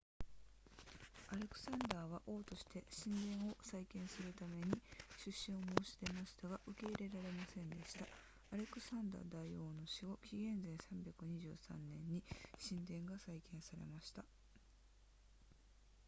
アレクサンダーは王として神殿を再建するために出資を申し出ましたが受け入れられませんでしたアレクサンダー大王の死後紀元前323年に神殿が再建されました